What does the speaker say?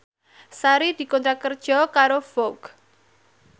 Sari dikontrak kerja karo Vogue